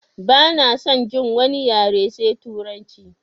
Bana son jin wani yare sai turanci!